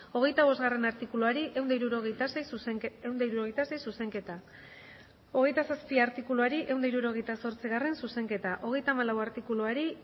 hogeita bostgarrena artikuluari ehun eta hirurogeita sei zuzenketa hogeita zazpigarrena artikuluari ehun eta hirurogeita zortzigarrena zuzenketa hogeita hamalau artikuluari